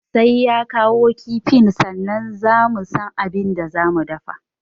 Sai ya kawo kifin sannan za mu san abin da za mu dafa